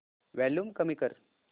volume कमी कर